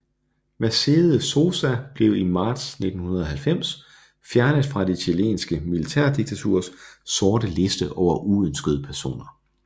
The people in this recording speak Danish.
Mercedes Sosa blev i marts 1990 fjernet fra det chilenske militærdiktaturs sorte liste over uønskede personer